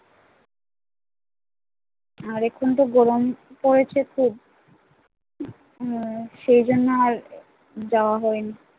আর এখন তো গরম পড়েছে খুব হম সেই জন্য আর যাওয়া হয় নি